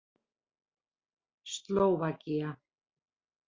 Slóvakía